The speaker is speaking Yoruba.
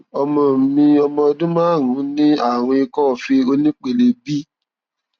ọmọ mi ọmọ ọdún márùnún ní àrùn ikọọfe onípele b